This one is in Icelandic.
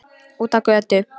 Út á götu.